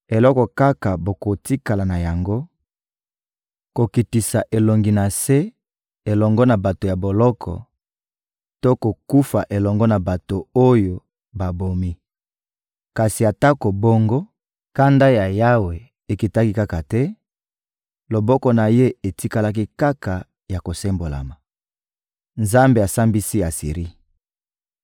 Eloko kaka bokotikala na yango: kokitisa elongi na se elongo na bato ya boloko to kokufa elongo na bato oyo babomi. Kasi atako bongo, kanda ya Yawe ekitaki kaka te, loboko na Ye etikalaki kaka ya kosembolama. Nzambe asambisi Asiri